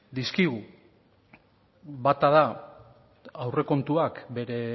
dizkigu bata da aurrekontuak bere